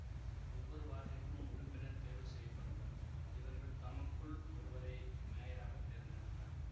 ஒவ்வொரு வார்டிற்கும் உறுப்பினர் தேர்வு செய்ய படுவர் இவர்கள் தமக்குள் ஒருவரை மேயராக தேர்ந்தெடுப்பர்